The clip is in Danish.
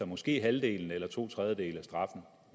måske halvdelen eller to tredjedele